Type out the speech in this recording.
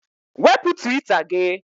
Wepụ Twita gị!